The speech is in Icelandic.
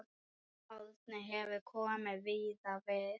Árni hefur komið víða við.